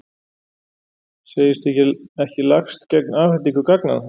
Segist ekki lagst gegn afhendingu gagnanna